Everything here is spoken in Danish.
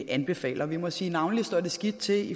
anbefaler vi må sige navnlig står skidt til